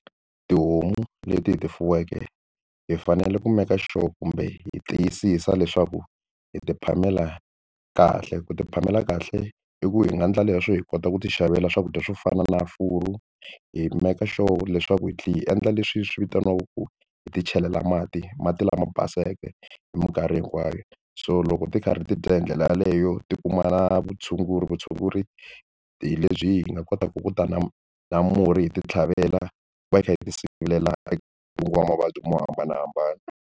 Tihomu leti hi ti fuweke hi fanele ku make sure kumbe hi tiyisisa leswaku hi ti phamela kahle ku ti phamela kahle i ku hi nga endla leswo hi kota ku ti xavela swakudya swo fana na hi make sure leswaku hi tlhela hi endla leswi swi vitaniwaku ku hi ti chelela mati mati lama baseke hi mikarhi hinkwayo so loko ti karhi ti dya hi ndlela yaleyo ti kuma vutshunguri vutshunguri hi lebyi hi nga kotaka ku ta na na murhi hi ti tlhavela va hi kha hi ti sivela eka ntungo wa mavabyi mo hambanahambana.